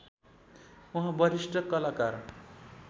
उहाँ वरिष्ठ कलाकार